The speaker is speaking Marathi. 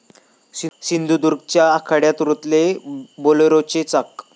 सिंधुदुर्गच्या आखाड्यात रुतले 'बोलेरो'चे चाक!